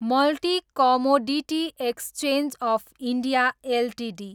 multi commodity exchange of India Ltd